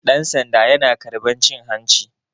Ɗansanda yana karɓar cin hanci